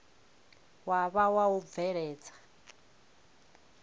wa vha wa u bveledza